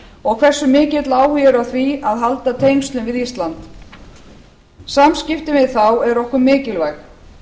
og hversu mikill áhugi er á því að halda tengslum við ísland samskiptin við þá eru okkur mikilvæg